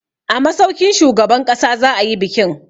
A masaukin shugaban ƙasa za a yi bikin.